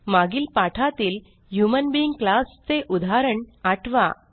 मागील पाठातील human being class चे उदाहरण आठवा